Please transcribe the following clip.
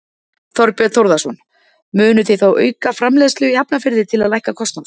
Þorbjörn Þórðarson: Munuð þið þá auka framleiðslu í Hafnarfirði til að lækka kostnað?